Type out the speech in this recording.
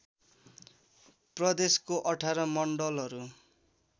प्रदेशको १८ मण्डलहरू